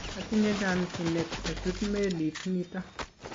atinye chomchinet achut melit nito